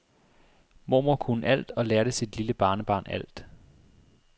Mormor kunne alt og lærte sit lille barnebarn alt.